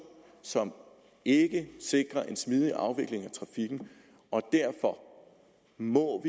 som ikke sikrer en smidig afvikling af trafikken og derfor må